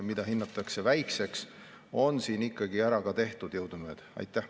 Ka ebasoovitava mõju riski on hinnatud väike.